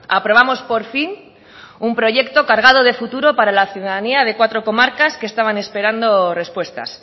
aprobamos por fin un proyecto cargado de futuro para la ciudadanía de cuatro comarcas que estaban esperando respuestas